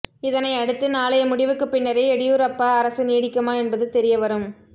இதனை அடுத்து நாளைய முடிவுக்கு பின்னரே எடியூரப்பா அரசு நீடிக்குமா என்பது தெரியவரும்